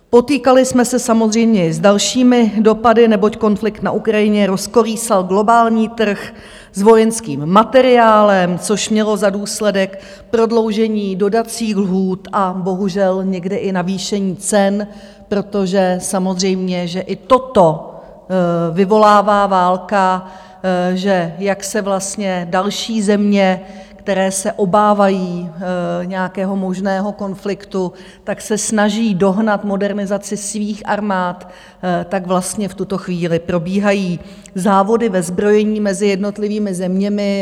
Potýkali jsme se samozřejmě s dalšími dopady, neboť konflikt na Ukrajině rozkolísal globální trh s vojenským materiálem, což mělo za důsledek prodloužení dodacích lhůt a bohužel někdy i navýšení cen, protože samozřejmě že i toto vyvolává válka, že jak se vlastně další země, které se obávají nějakého možného konfliktu, tak se snaží dohnat modernizaci svých armád, tak vlastně v tuto chvíli probíhají závody ve zbrojení mezi jednotlivými zeměmi.